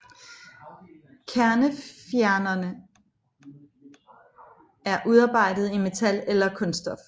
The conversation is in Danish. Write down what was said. Kernefjernere er udarbejdet i metal eller kunststof